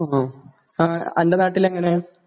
മ് ..അന്റെ നാട്ടില് എങ്ങനെയാ?